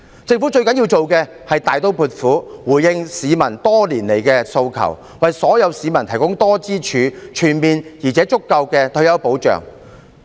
政府最需要做的，是大刀闊斧回應市民多年來的訴求，為所有市民提供多支柱、全面而足夠的退休保障。